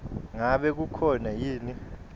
ngabe kukhona yini